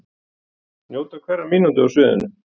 Njóta hverrar mínútu á sviðinu